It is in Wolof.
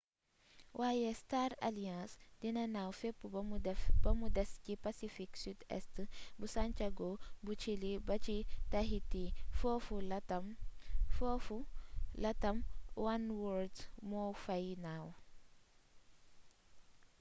waaye star alliance dina naaw fépp bamu des ci pacifique sud-est bu santiago bu chili ba ci tahiti foofu latam oneworld moo fay naaw